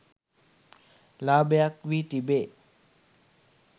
ලාභයක් වී තිබේ.